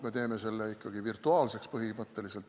Me teeme selle ikkagi põhimõtteliselt virtuaalseks.